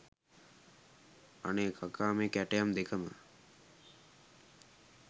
අනේ කකා මේ කැටයම් දෙකම